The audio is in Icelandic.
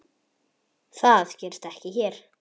Það gerist ekki hér.